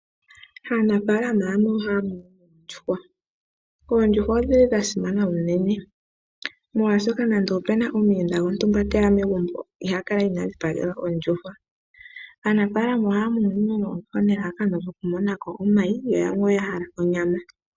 Anafaalama yamwe ohaya munu oondjuhwa. Oondjuhwa odhili sha simana unene molwaashoka nande opuna omuyenda gontumba teya megumbo iha kala inadhipagelwa ondjuhwa. Aanafaalama ohaya munu oondjuhwa nelalakano lyoku monako omayi yo yamwe oya hala onyama.